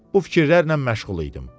Bu fikirlərlə məşğul idim.